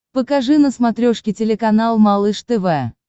покажи на смотрешке телеканал малыш тв